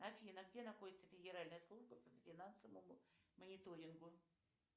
афина где находится федеральная служба по финансовому мониторингу